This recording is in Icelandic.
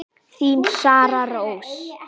Þín Sara Rós.